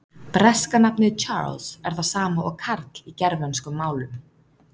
Breska nafnið Charles er það sama og Karl í germönskum málum.